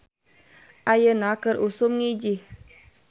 "Ayeuna keur usum ngijih "